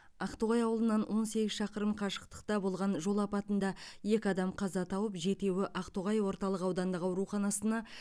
ақтоғай ауылынан он сегіз шақырым қашықтықта болған жол апатында екі адам қаза тауып жетеуі ақтоғай орталық аудандық ауруханасына